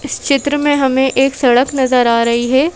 चित्र में हमें एक सड़क नजर आ रही है।